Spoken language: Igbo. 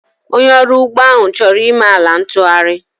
Onye ọrụ ugbo ahụ chọrọ ime ala ntụgharị